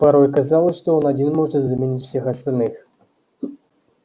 порой казалось что он один может заменить всех остальных